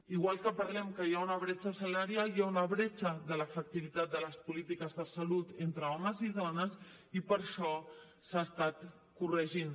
igual que parlem que hi ha una bretxa salarial hi ha una bretxa de l’efectivitat de les polítiques de salut entre homes i dones i per això s’ha estat corregint